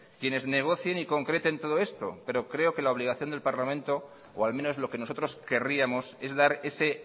quienes negocien y concreten todo esto pero creo que la obligación del parlamento o al menos lo que nosotros querríamos es dar ese